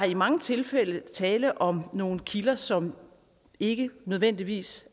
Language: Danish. i mange tilfælde tale om nogle kilder som ikke nødvendigvis